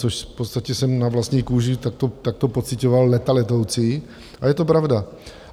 Což v podstatě jsem na vlastní kůži takto pociťoval léta letoucí, a je to pravda.